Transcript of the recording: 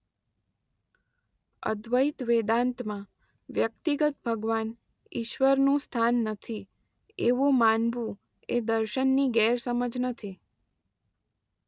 અદ્વૈત વેદાંતમાં વ્યક્તિગત ભગવાન ઇશ્વર નું સ્થાન નથી એવું માનવું એ દર્શનની ગેરસમજ નથી.